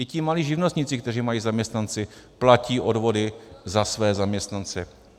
I ti malí živnostníci, kteří mají zaměstnance, platí odvody za své zaměstnance.